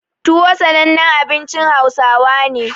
Tuwo sanannen abincin Hausawa ne.